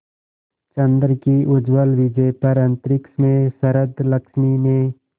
चंद्र की उज्ज्वल विजय पर अंतरिक्ष में शरदलक्ष्मी ने